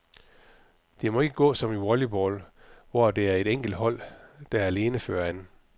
Det må ikke gå som i volleyball, hvor det er et enkelt hold, der alene fører an.